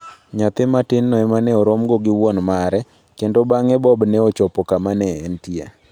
Nyathi matinno ema ne oromogo gi wuon mare, kendo bang'e Bob ne ochopo kama ne entie.